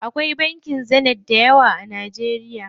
Akwai bankin Zenith dayawa a Najeriya.